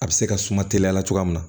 A bɛ se ka suma teliya la cogoya min na